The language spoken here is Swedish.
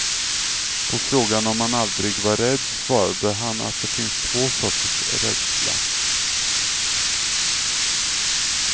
På frågan om han aldrig var rädd, svarade han att det finns två sorters rädsla.